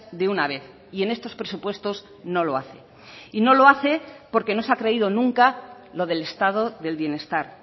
de una vez y en estos presupuestos no lo hace y no lo hace porque no se ha creído nunca lo del estado del bienestar